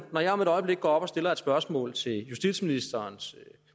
når jeg om et øjeblik går op og stiller et spørgsmål til justitsministerens